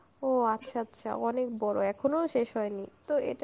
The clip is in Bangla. ও আচ্ছা আচ্ছা, অনেক বড়, এখনও শেষ হয়নি. তো এটা